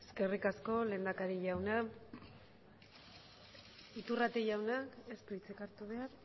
eskerrik asko lehendakari jauna iturrate jaunak ez du hitzik hartu behar